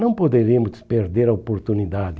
Não poderíamos perder a oportunidade.